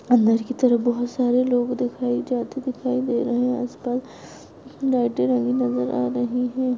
अंदर की तरफ बहुत सारे लोग दिखाई जाते दिखाई दे रहे है आसपास लाइटे नजर आ रही है।